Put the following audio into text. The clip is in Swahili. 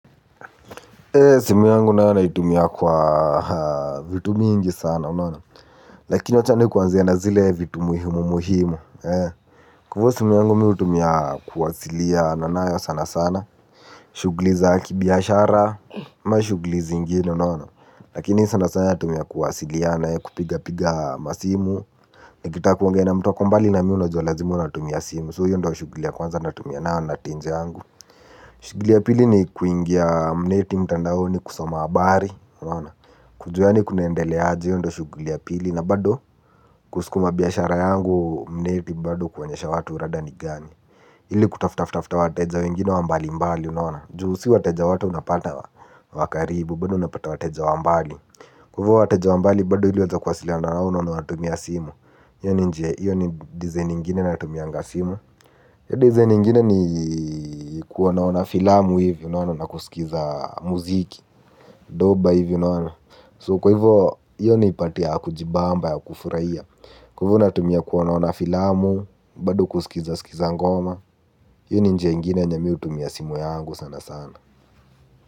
Simu yangu na yana itumia kwa vitu mingi sana unaona. Lakini wachani kuanzia na zile vitu muhimu muhimu. Ku ivo simu yangu miu tumia kuwasilia nanayo sana sana. Shugliza kibiashara ma shugli zinginu unawana. Lakini sana sana tumia kuwasilia na kupiga piga masimu. Nikita kuangea na mtuwa kumbali na miu na jua lazimu natumia simu So hiyo ndo wa shuglia kwanza natumia na natinze angu. Shugli ya pili ni kuingia mneti mtandaoni kusoma abari. Kujua ni kunaendele aji yendo shuguli ya pili na bado kusikuma biyashara yangu mneti bado kuonyesha watu rada ni gani ili kutafuta ftefte wateja wengine wambali mbali unaona. Juhusi wateja watu unapata wa karibu bado unapata wateja wa mbali mbali kwa ivo watajwa mbali badu hiliweza kwa sila na unauna na watumia simu. Iyo ni nje, iyo ni design ingine na tumianga simu. Iyo design ingine ni kuonaona filamu hivyo na una kusikiza muziki. Doba hivyo na una So kwa hivo, iyo ni ipatia kujibamba ya kufurahia kwa ivu na tumia kuonaona filamu, badu kusikiza sikiza ngoma. Iyo ni nje ingine yenye miu tumia simu yangu sana sana.